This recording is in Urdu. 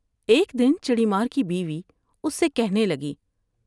ایک دن چڑی مار کی بیوی اس سے کہنے لگی ۔